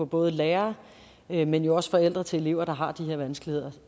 både lærere men jo også forældre til elever der har de her vanskeligheder